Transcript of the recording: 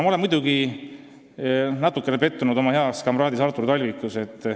Ma olen muidugi natuke pettunud oma heas kamraadis Artur Talvikus.